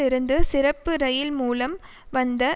இருந்து சிறப்பு இரயில் மூலம் வந்த